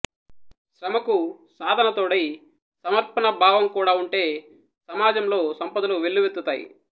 శ్రమకు సాధన తోడై సమర్పణ భావం కూడా ఉంటే సమాజంలో సంపదలు వెల్లువెత్తుతాయి